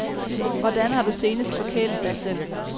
Hvordan har du senest forkælet dig selv?